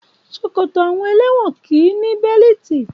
Ṣòkòtò àwọn ẹlẹ́wọ̀n kì í ní bẹ́líìtì.